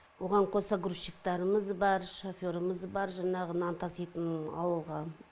оған қоса грузчиктарымыз бар шоферымыз бар жаңағы нан таситын ауылға